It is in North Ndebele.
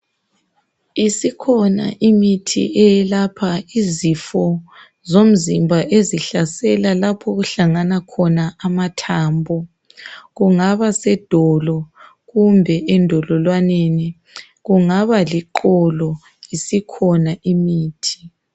Isikhona imithi eyalapha izifo zomzimba ezihlasela lapho okuhlangana khona amathambo. Kungaba sedolo kumbe endololwaneni kungaba liqolo isikhona imithi.